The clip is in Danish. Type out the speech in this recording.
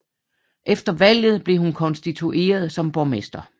Efter valget blev hun konstitueret som borgmester